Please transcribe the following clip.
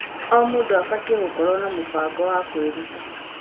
O mũndũ abatiĩ gũkorwo na mũbango wa kwĩrut.